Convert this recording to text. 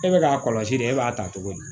E bɛ k'a kɔlɔsi de e b'a ta cogo di